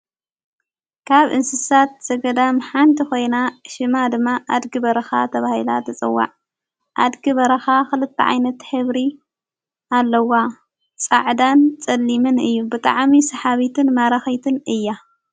ካብ እንስሳት ዘገዳ ም ሓንቲ ኾይና ሽማ ድማ ኣድጊ በረኻ ተብሂላ ተጸዋዕ ኣድጊ በረኻ ኽልተ ዓይነት ሄብሪ ኣለዋ ጻዕዳን ጸሊምን እዩ ብጠዓሚ ሰሓቢትን ማራኺትን እያ፡፡